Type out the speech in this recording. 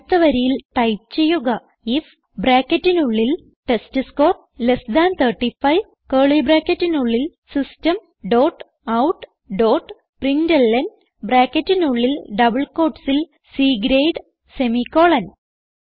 അടുത്ത വരിയിൽ ടൈപ്പ് ചെയ്യുക ഐഎഫ് ബ്രാക്കറ്റിനുള്ളിൽ ടെസ്റ്റ്സ്കോർ ലെസ് താൻ 35 കർലി ബ്രാക്കറ്റിനുള്ളിൽ system dot out dot println ബ്രാക്കറ്റിനുള്ളിൽ ഡബിൾ quotesൽ C ഗ്രേഡ് സെമിക്കോളൻ